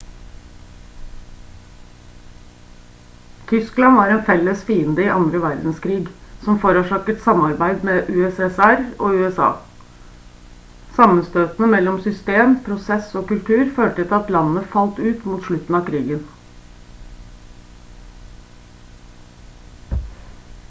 tyskland var en felles fiende i andre verdenskrig som forårsaket samarbeid mellom ussr og usa sammenstøtene mellom system prosess og kultur førte til at landene falt ut mot slutten av krigen